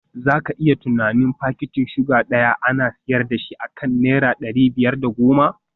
Za ka iya tunanin fakitin suga guda daya ana sayar da shi akan naira dari biyar da goma